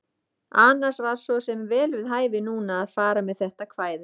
Annars var svo sem vel við hæfi núna að fara með þetta kvæði.